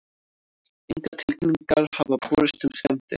Engar tilkynningar hafa borist um skemmdir